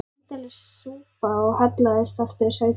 Indælis súpa og hallaðist aftur í sætinu.